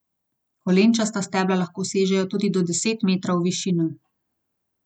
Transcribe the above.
Kolenčasta stebla lahko sežejo tudi do deset metrov v višino.